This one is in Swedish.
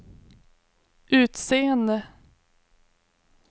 utseende